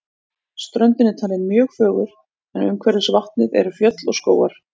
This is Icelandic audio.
Ströndin er talin mjög fögur en umhverfis vatnið eru fjöll og skógar.